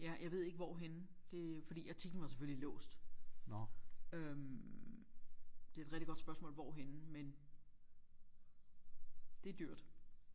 Ja jeg ved ikke hvorhenne det fordi artiklen var selvfølgelig låst øh det er et rigtig godt spørgsmål hvorhenne men det er dyrt